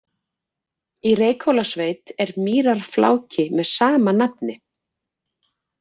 Í Reykhólasveit er mýrarfláki með sama nafni.